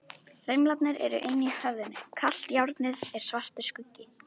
Rimlarnir eru inni í höfðinu, kalt járnið er svartur skuggi.